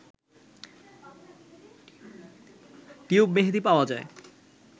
tube মেহেদি পাওয়া যায়